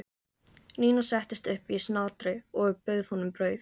Nína settist upp í snatri og bauð honum brauð.